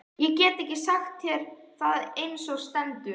Ég get ekki sagt þér það eins og stendur.